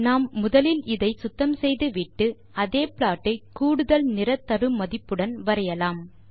நாம் முதலில் இதை சுத்தம் செய்து விட்டு அதே ப்ளாட் ஐ கூடுதல் நிற தரு மதிப்புடன் வரையலாம்